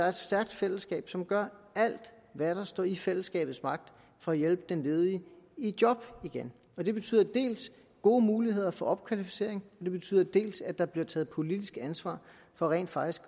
et stærkt fællesskab som gør alt hvad der står i fællesskabets magt for at hjælpe den ledige i job igen det betyder dels gode muligheder for opkvalificering det betyder dels at der bliver taget politisk ansvar for rent faktisk